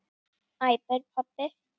æpir pabbi.